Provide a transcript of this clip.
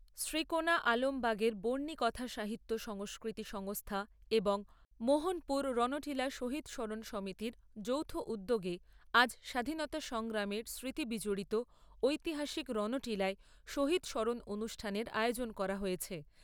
শ্রীকোনা আলমবাগের বর্ণিকথা সাহিত্য সংস্কৃতি সংস্থা এবং মোহনপুর রণটিলা শহিদ স্মরণ সমিতির যৌথ উদ্যোগে আজ স্বাধীনতা সংগ্রামের স্মৃতি বিজড়িত ঐতিহাসিক রণটিলায় শহিদ স্মরণ অনুষ্ঠানের আয়োজন করা হয়েছে।